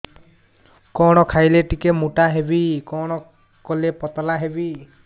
କଣ ଖାଇଲେ ଟିକେ ମୁଟା ହେବି କଣ କଲେ ପତଳା ହେବି